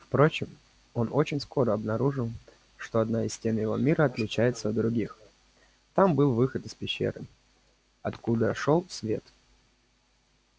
впрочем он очень скоро обнаружил что одна из стен его мира отличается от других там был выход из пещеры и откуда шёл свет